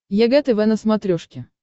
егэ тв на смотрешке